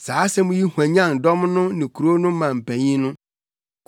Saa asɛm yi hwanyan dɔm no ne kurow no mu mpanyin no.